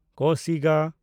ᱠᱚᱥᱤᱜᱟ